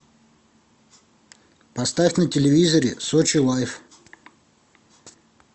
поставь на телевизоре сочи лайф